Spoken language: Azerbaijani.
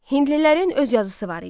Hindlilərin öz yazısı var idi.